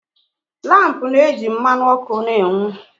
Lampu na-eji mmanụ ọkụ na-enwu